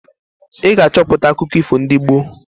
Ị ga-achọpụta akụkọ ifo ndị gboo!